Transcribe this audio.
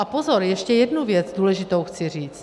A pozor, ještě jednu věc důležitou chci říct.